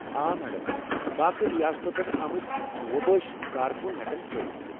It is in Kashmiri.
آ میڈم، باقٕے ریاستو پٮ۪ٹھ آمتۍ وۄبٲسۍ کارکن ہٮ۪کن فٲئدٕ تُلِتھ۔